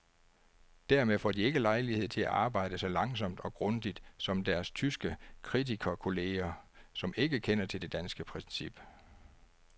Dermed får de ikke lejlighed til at arbejde så langsomt og grundigt som deres tyske kritikerkolleger, som ikke kender til det danske princip.